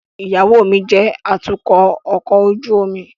Iyawo mi jẹ atukọ ọkọ ojú omi